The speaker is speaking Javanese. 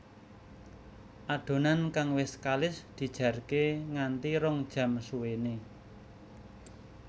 Adonan kang wis kalis dijarke nganti rong jam suwéné